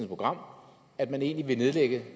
program at man egentlig vil nedlægge